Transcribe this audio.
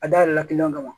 A dayɛlɛla kiliyanw kama